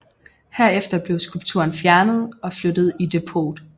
Herefter blev skulpturen fjernet og flyttet i depot